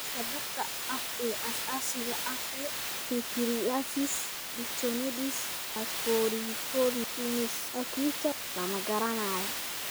Sababta dhabta ah ee asaasiga ah ee pityriasis lichenoides et varioliformis acuta (PLEVA) lama garanayo.